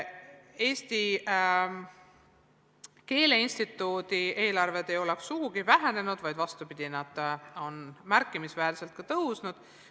Eesti Keele Instituudi eelarve ei ole sugugi vähenenud, vaid on, vastupidi, märkimisväärselt tõusnud.